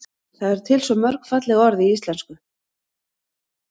það eru til svo mörg falleg orð í íslenksu